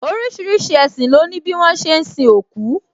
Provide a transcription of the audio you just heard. Orísìírísìí ẹṣin lo ni bi wọn ṣe ń sin òkú